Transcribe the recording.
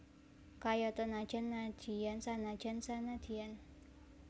Kayata najan nadyan sanajan sanadyan